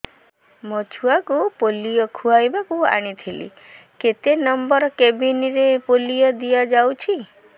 ମୋର ଛୁଆକୁ ପୋଲିଓ ଖୁଆଇବାକୁ ଆଣିଥିଲି କେତେ ନମ୍ବର କେବିନ ରେ ପୋଲିଓ ଦିଆଯାଉଛି